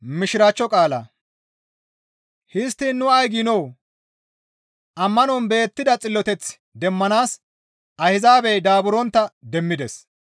Histtiin nu ay giinoo? Ammanon beettida xilloteth demmanaas Ayzaabey daaburontta demmides.